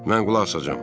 Mən qulaq asacağam.